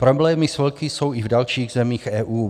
Problémy s vlky jsou i v dalších zemí EU.